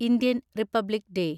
Indian republic day